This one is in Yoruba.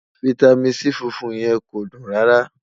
fìtámín C fúnfún yẹ̀n kò dùn rárá